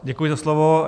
Děkuji za slovo.